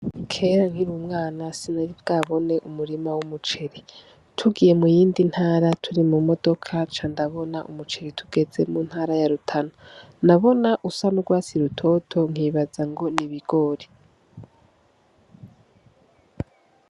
Kera nkiri umwana sinari bwabone umurima w'umuceri, tugiye mu yindi ntara turi mu modoka nca ndabona umuceri tugeze mu ntara ya Rutana, nabona usa n'ugwatsi rutoto nkibaza ngo n'ibigori.